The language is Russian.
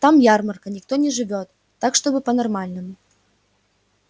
там ярмарка никто не живёт так чтобы по-нормальному